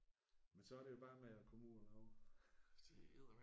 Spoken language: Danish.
Men så er det jo bare med at komme ud og lave